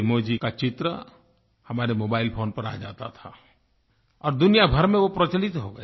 mazes का चित्र हमारे मोबाइल फोन पर आ जाता था और दुनिया भर में वो प्रचलित हो गया